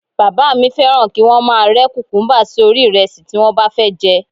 Bàbá mi fẹ́ràn kí wọ́n máa rẹ́ kùkúmúbá sí orí ìrẹsì tí wọ́n bá fẹ́ jẹ